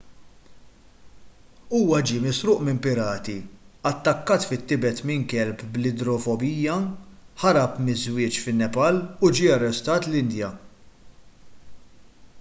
huwa ġie misruq minn pirati attakkat fit-tibet minn kelb bl-idrofobija ħarab miż-żwieġ fin-nepal u ġie arrestat l-indja